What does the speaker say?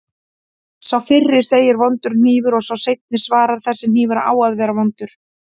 Sá fyrri segir: Vondur hnífur og sá seinni svarar: Þessi hnífur á að vera vondur